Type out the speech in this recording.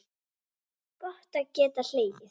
Gott að geta hlegið.